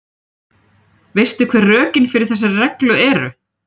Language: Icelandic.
Veistu hver rökin fyrir þessari reglu eru?